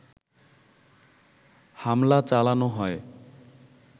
হামলা চালানো হয়